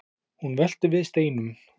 hún veltir við steinum